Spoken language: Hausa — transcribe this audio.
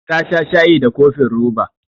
Ta sha shayi da cofin roba.